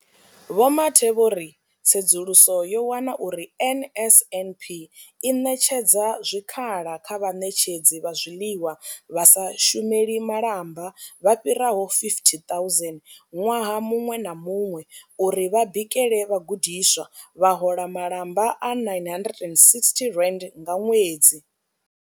Vho Mathe vho ri tsedzuluso yo wana uri NSNP i ṋetshedza zwikhala kha vhaṋetshedzi vha zwiḽiwa vha sa shumeli malamba vha fhiraho 50 000 ṅwaha muṅwe na muṅwe uri vha bikele vhagudiswa, vha hola malamba a R960 nga ṅwedzi.